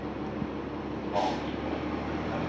Svanvik